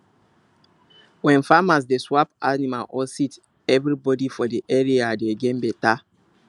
when farmers dey swap animal or seed everybody for the area dey gain better